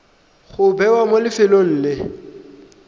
go bewa mo lefelong le